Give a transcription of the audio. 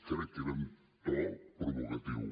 crec que era amb to provocatiu